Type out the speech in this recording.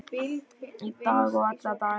Í dag og alla daga.